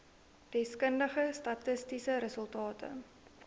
deskundige statistiese resultate